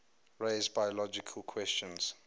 raise biological questions